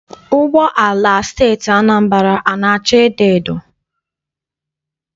Ụgbọala nke Steeti Anambra ana acha edoedo?